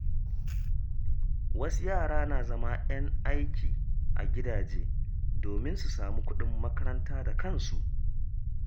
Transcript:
Wasu yara na zama ‘yan aiki a gidaje domin su samu kuɗin makaranta da kansu.